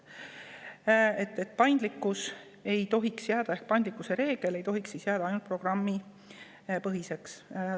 Nii et pandlikkuse reegel ei tohiks jääda ainult programmipõhiseks.